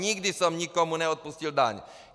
Nikdy jsem nikomu neodpustil daň.